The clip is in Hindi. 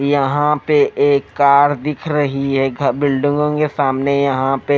यहां पे एक कार दिख रही है घ बिल्डिंगों के सामने यहां पे--